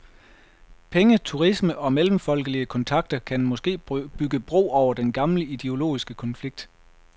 Penge, turisme og mellemfolkelige kontakter kan måske bygge bro over den gamle ideologiske konflikt.